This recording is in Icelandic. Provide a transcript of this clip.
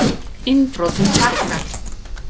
Innbrotum fækkar